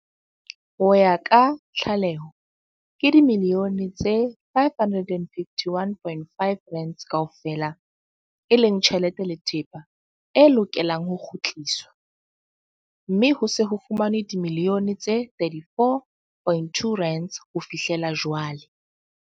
Ho ya ka tlaleho, ke dimiliyone tse R551.5 kaofela e leng tjhelete le thepa e lokelang ho kgutliswa, mme ho se ho fumanwe dimiliyone tse R34.2 ho fihlela jwale.